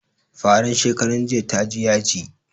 Faran shekaran jiya ta ji yaji